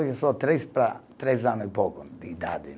Só três para três anos e pouco de idade